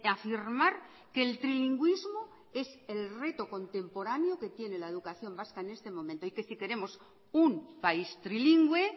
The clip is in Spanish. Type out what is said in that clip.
afirmar que el trilingüísmo es el reto contemporáneo que tiene la educación vasca en este momento y que si queremos un país trilingüe